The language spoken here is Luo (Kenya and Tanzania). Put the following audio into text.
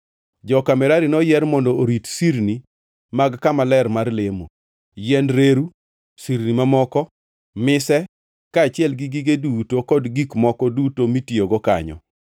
Joka Merari noyier mondo orit sirni mag kama ler mar lemo, yiend reru, sirni mamoko, mise, kaachiel gi gige duto kod gik moko duto mitiyogo kanyo,